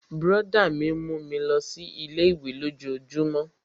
Brọ̀dá mi mú mi lọ sí ilé-ìwé lójojúmó